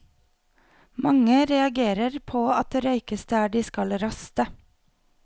Mange reagerer på at det røykes der de skal raste.